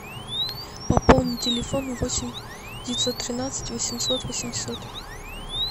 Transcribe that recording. пополни телефон восемь девятьсот тринадцать восемьсот восемьсот